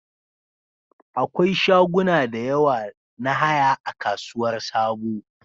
Akwai shaguna da yawa na haya a Kasuwar Sabo